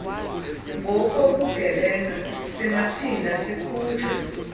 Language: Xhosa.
ngokobugebenga singaphinda sikhutshwe